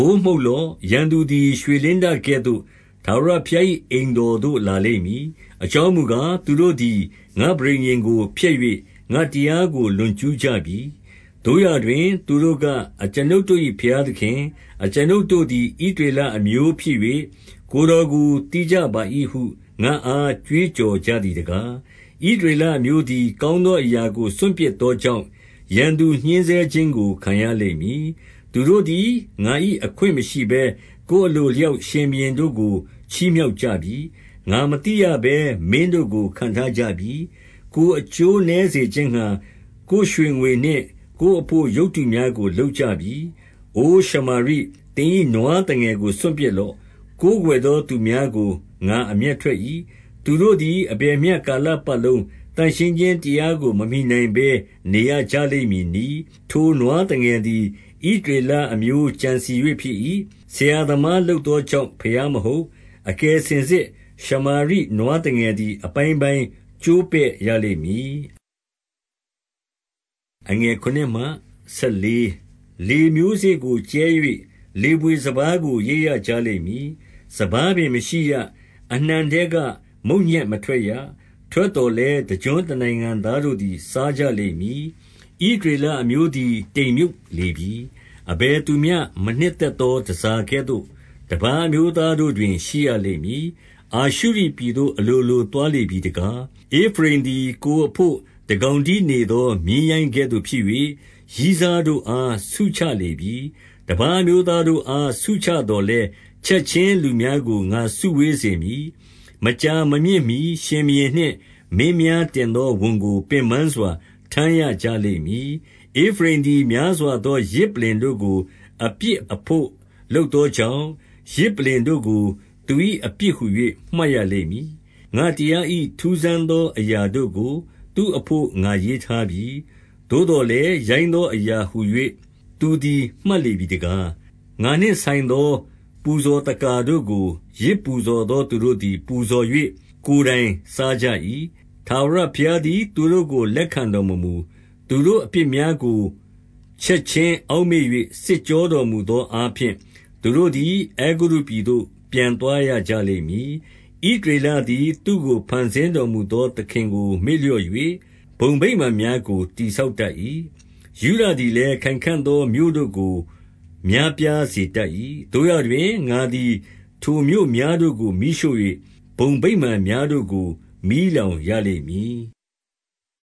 ိုးမှုတ်လော့။ ရန်သူသည် ရွှေလင်းတကဲ့သို့ ထာဝရဘုရား၏အိမ်တော်သို့ လာလိမ့်မည်။ အကြောင်း မူကား၊ သူတို့သည် ငါ့ပဋိညာဉ်ကို ဖျက်၍ ငါ့တရားကို လွန်ကျူးကြပြီ။ သို့ရာတွင် သူတို့က၊ အကျွန်ုပ်တို့၏ ဘုရားသခင်၊ အကျွန်ုပ်တို့သည် ဣသရေလအမျိုးဖြစ်၍ ကိုယ်တော်ကို သိကြပါ၏ဟု ငါ့အား ကြွေးကြော်ကြသည်တကား။ ဣသရေလအမျိုးသည် ကောင်းသောအရာကို စွန့်ပစ်သောကြောင့်၊ ရန်သူညှဉ်းဆဲခြင်းကို ခံရလိမ့်မည်။ သူတို့သည် ငါ၏အခွင့်မရှိဘဲ ကိုယ်အလို အလျောက် ရှင်ဘုရင်တို့ကို ချီးမြှောက်ကြပြီ။ ငါမသိရဘဲ မင်းတို့ကို ခန့်ထားကြပြီ။ ကိုယ်အကျိုးနည်းစေခြင်းငှါ၊ ကိုယ်ရွှေငွေနှင့်ကိုယ်အဘို့ ရုပ်တုများကိုလုပ်ကြပြီ။ အိုရှမာရိ၊ သင်၏ နွားသငယ်ကို စွန့်ပစ်လော့။ ကိုးကွယ်သော သူများကို ငါအမျက်ထွက်၏။ သူတို့သည် အဘယ်မျှကာလပတ်လုံး သန့်ရှင်းခြင်းတရားကို မမှီနိုင် ဘဲ နေရကြလိမ့်မည်နည်း။ ထိုနွားသငယ်သည် ဣသရေလအမျိုး ကြံစည် ၍ ဖြစ်၏။ ဆရာသမားလုပ်သောကြောင့် ဘုရားမဟုတ်။ အကယ်စင်စစ် ရှမာရိနွားသငယ်သည် အပိုင်းပိုင်း ကျိုးပဲ့ ရလိမ့်မည်။ လေမျိုးစေ့ကို ကြဲ၍ လေဘွေစပါးကို ရိတ်ရကြ လိမ့်မည်။ စပါးပင် မရှိရ။ အနှံထဲက မုန့်ညက်မထွက်ရ။ ထွက်သော်လည်း တကျွန်းတနိုင်ငံသားတို့သည် စားကြ လိမ့်မည်။ ဣသရေလအမျိုးသည် တိမ်မြုပ်လေပြီ။အဘယ် သူမျှ မနှစ်သက်သော တန်ဆာကဲ့သို့ တပါးအမျိုးသားတို့ တွင် ရှိရလိမ့်မည်။ အာရှုရိပြည်သို့ အလိုလိုသွားလေပြီတကား။ ဧဖရိမ်သည် ကိုယ်အဘို့တကောင်တည်းနေသော မြည်း ရိုင်းကဲ့သို့ဖြစ်၍၊ ရည်းစားတို့အား ဆုချလေပြီ။ တပါးအမျိုးသားတို့အား ဆုချသော်လည်း၊ ချက် ခြင်းလူများကို ငါစုဝေးစေမည်။ မကြာမမြင့်မှီ ရှင်ဘုရင် နှင့် မင်းများတင်သော ဝန်ကို ပင်ပန်းစွာ ထမ်းရကြလိမ့် မည်။ ဧဖရိမ်သည် များစွာသော ယဇ်ပလ္လင်တို့ကို အပြစ်အဘို့ လုပ်သောကြောင့်၊ ယဇ်ပလ္လင်တို့ကို သူ၏ အပြစ်ဟူ၍ မှတ်ရလိမ့်မည်။ ငါ့တရား၏ ထူးဆန်းသောအရာတို့ကို သူ့အဘို့ ငါရေးထားပြီ။ သို့သော်လည်း၊ ရိုင်းသော အရာဟူ၍ သူသည် မှတ်လေပြီတကား။ ငါနှင့်ဆိုင်သော ပူဇော်သက္ကာတို့ကို ယဇ်ပူဇော် သော သူတို့သည် ပူဇော်၍ ကိုယ်တိုင်စားကြ၏။ ထာဝရ ဘုရားသည် သူတို့ကို လက်ခံတော်မမူ။ သူတို့အပြစ်များ ကို ချက်ခြင်းအောက်မေ့၍ စစ်ကြောတော်မူသော အားဖြင့်၊ သူတို့သည် အဲဂုတ္တုပြည်သို့ ပြန်သွားရကြလိမ့် မည်။ ဣသရေလသည် သူ့ကို ဖန်ဆင်းတော်မူသော သခင်ကိုမေ့လျော့၍ ဘုံဗိမာန်များကို တည်ဆောက်တတ် ၏။ ယုဒသည်လည်း ခိုင်ခံ့သော မြို့တို့ကို များပြားစေ တတ်၏။ သို့ရာတွင်၊ ငါသည် ထိုမြို့များတို့ကို မီးရှို့၍ ဘုံဗိမာန်များတို့ကို မီးလောင်ရလိမ့်မည်။